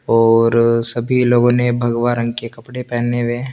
और सभी लोगो ने भग्वा रंग के कपडे पेने वे है।